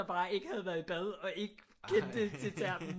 Bare ikke havde været i bad og ikke kendte til termen